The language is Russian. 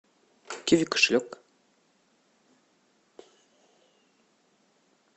киви кошелек